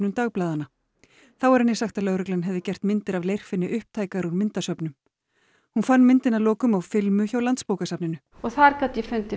dagblaðanna þá var henni sagt að lögreglan hefði gert myndir af Leirfinni upptækar úr myndasöfnum hún fann myndina að lokum á filmu hjá Landsbókasafninu og þá gat ég fundið